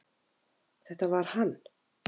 Þetta var hann